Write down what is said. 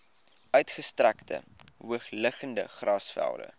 uitgestrekte hoogliggende grasvelde